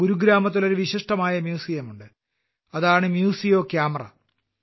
ഗുരുഗ്രാമത്തിൽ ഒരു വിശിഷ്ടമായ മ്യൂസിയമുണ്ട് അതാണ് മ്യൂസിയോ കാമറ